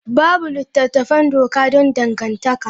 Babu littattafan doka don dangantaka.